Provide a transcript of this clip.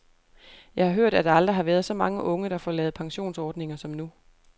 Jeg har hørt, at der aldrig har været så mange unge, der får lavet pensionsordninger som nu.